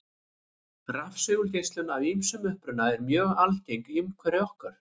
Rafsegulgeislun af ýmsum uppruna er mjög algeng í umhverfi okkar.